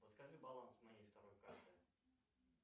подскажи баланс моей второй карты